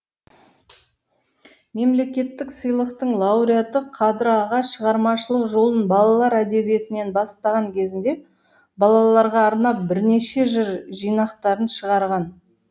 мемлекеттік сыйлықтың лауреаты қадыр аға шығармашылық жолын балалар әдебиетінен бастаған кезінде балаларға арнап бірнеше жыр жинақтарын шығарған